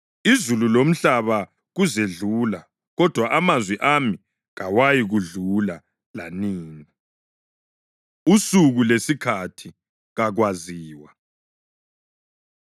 Izulu lomhlaba kuzedlula, kodwa amazwi ami kawayikwedlula lanini.” Usuku Lesikhathi Kakwaziwa